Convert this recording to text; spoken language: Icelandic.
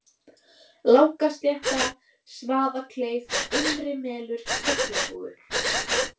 Langaslétta, Svaðakleif, Innrimelur, Hjallavogur